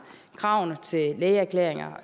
kravene til lægeerklæringer